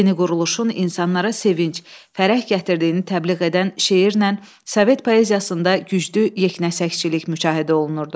Yeni quruluşun insanlara sevinc, fərəh gətirdiyini təbliğ edən şeirlə Sovet poeziyasında güclü yeknəsəkçilik müşahidə olunurdu.